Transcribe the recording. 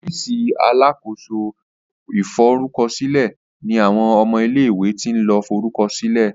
ọ́fíìsì alákóso ìforúkọsílẹ ní àwọn ọmọ ilé ìwé tin lo forukọsilẹ